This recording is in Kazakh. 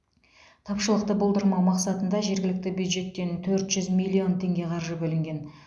тапшылықты болдырмау мақсатында жергілікті бюджеттен төрт жүз миллион теңге қаржы бөлінген